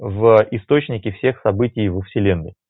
в источнике всех событий вселенной